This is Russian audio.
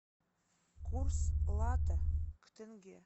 курс лата к тенге